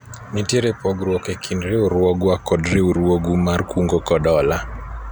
nitiere pogruok e kind riwruogwa kod riwruogu mar kungo kod hola